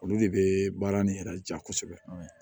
Olu de bɛ baara nin yɛrɛ ja kosɛbɛ